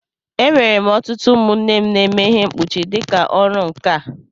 E nwere ọtụtụ ụmụnne m na-eme ihe mkpuchi dịka ọrụ nkà.